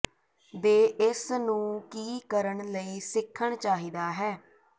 ਦੇ ਇਸ ਨੂੰ ਕੀ ਕਰਨ ਲਈ ਸਿੱਖਣ ਚਾਹੀਦਾ ਹੈ